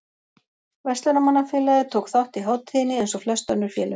Verslunarmannafélagið tók þátt í hátíðinni eins og flest önnur félög.